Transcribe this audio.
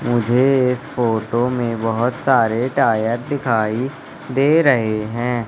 मुझे इस फोटो में बहोत सारे टायर दिखाई दे रहे हैं।